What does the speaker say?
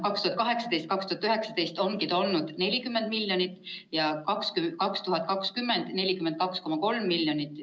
2018 ja 2019 oligi see 40 miljonit ja 2020 oli 42,3 miljonit.